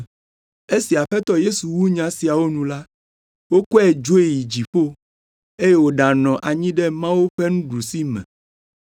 Esi Aƒetɔ Yesu wu nya siawo nu la, wokɔe dzoe yi dziƒo eye wòɖanɔ anyi ɖe Mawu ƒe nuɖusime.